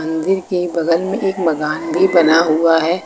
मंदिर के बगल में एक मकान भी बना हुआ है।